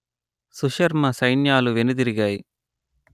సుశర్మ సైన్యాలు వెనుదిరిగాయి